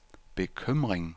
bekymring